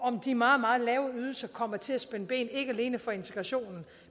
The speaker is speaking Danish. om de meget meget lave ydelser kommer til at spænde ben ikke alene for integrationen